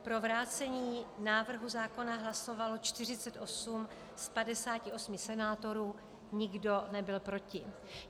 Pro vrácení návrhu zákona hlasovalo 48 z 58 senátorů, nikdo nebyl proti.